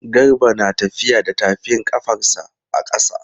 Garba na tafiya da tafin ƙafarsa a ƙasa.